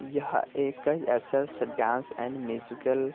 यह एक ऐसा स डांस एंड म्यूजिकल --